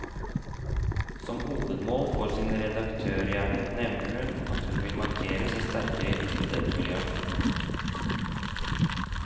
Som hovedmål for sin redaktørgjerning nevner hun, at hun vil markere seg sterkere i studentmiljøet.